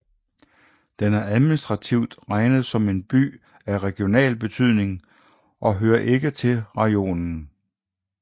Den er administrativt regnet som en By af regional betydning og hører ikke til rajonen